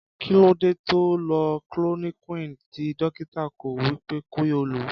Kí ló dé tóo lo chloroquini ti Dọ̀kítà kò sọ wípé kí ó lò?